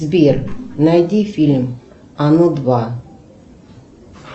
сбер найди фильм оно два